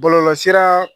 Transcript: Bɔlɔlɔsira